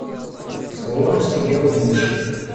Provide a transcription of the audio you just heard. слон съел мышь